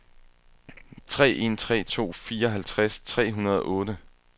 tre en tre to fireoghalvtreds tre hundrede og otte